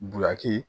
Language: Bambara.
Bulaki